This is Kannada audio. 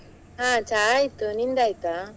ಹಾ ಚಾ ಆಯ್ತು, ನಿಂದಾಯ್ತ?